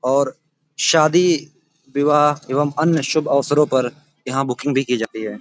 और शादी विवाह एवं अन्य शुभ अवसरों पर यहाँ बुकिंग भी की जाती है।